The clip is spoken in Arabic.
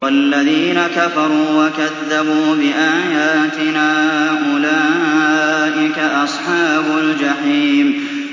وَالَّذِينَ كَفَرُوا وَكَذَّبُوا بِآيَاتِنَا أُولَٰئِكَ أَصْحَابُ الْجَحِيمِ